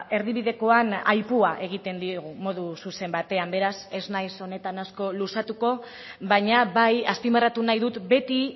erdibidekoan aipua egiten diegu modu zuzen batean beraz ez nahiz honetan asko luzatuko baina bai azpimarratu nahi dut beti